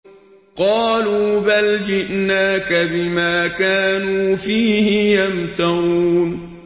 قَالُوا بَلْ جِئْنَاكَ بِمَا كَانُوا فِيهِ يَمْتَرُونَ